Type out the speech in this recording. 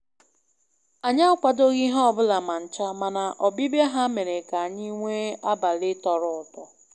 anyị akwadoghị ihe ọbụla ma ncha, mana ọbịbịa ha mere ka anyị nwee abalị tọrọ ụtọ